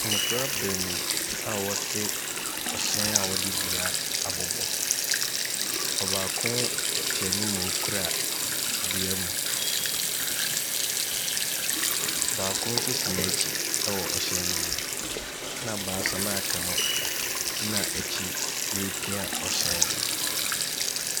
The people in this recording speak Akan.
Mmɔfra beenu a wɔtse ɔhyɛn a wɔde dua abobɔ. Ɔbaako tse anyim a okura dua mu, baako nso te n’akyi wɔ hyɛn ne mu. Na baas anoa aka no gyina akyi ripia hyɛn no.